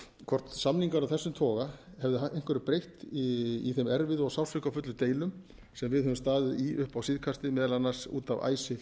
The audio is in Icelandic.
hvort samningar af þessum toga hefðu einhverju breytt í þeim erfiðu og sársaukafullu deilum sem við höfum staðið í upp á síðkastið meðal annars út af icesave